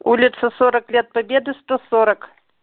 улица сорок лет победы сто сорок